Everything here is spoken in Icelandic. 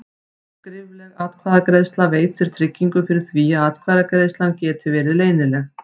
Skrifleg atkvæðagreiðsla veitir tryggingu fyrir því að atkvæðagreiðslan geti verið leynileg.